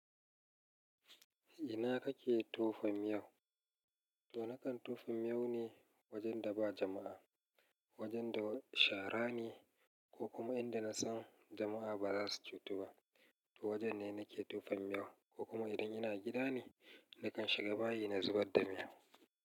Ina kake tofan miyau? To nakan tofan miyau ne wajen da ba jama'a. Wajen da shara ne ko kuma inda na san jama'a ba za su ci tu ba. To wajen ne nake tofan miyau, ko kuma idan ina gida ne, nakan shiga bayi na zubar da miyau.